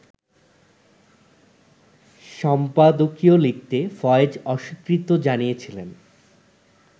সম্পাদকীয় লিখতে ফয়েজ অস্বীকৃতি জানিয়েছিলেন